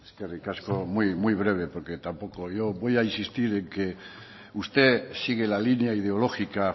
eskerrik asko muy breve porque tampoco yo voy a insistir en que usted sigue la línea ideológica